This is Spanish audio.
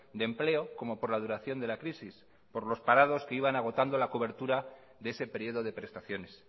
de empleo como por la duración de la crisis por los parados que iban agotando la cobertura de ese periodo de prestaciones